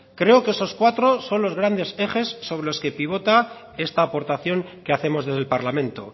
creo que esos cuatro son los grandes ejes sobre los que pivota esta aportación que hacemos desde el parlamento